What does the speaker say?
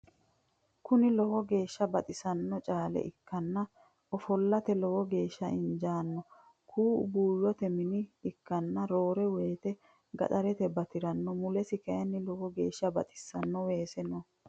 Kuni lowo geeshsa baxissanno caale ikkanna ofollate lowo geeshsa injanno. Kuu"u buuyyote mine ikkanna roore woyite gaxarrate batiranno. mulesi kayini lowo geeshsa baxissanno weese no.